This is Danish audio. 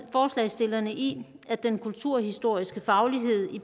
forslagstillerne i at den kulturhistoriske faglighed i